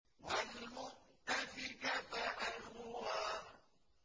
وَالْمُؤْتَفِكَةَ أَهْوَىٰ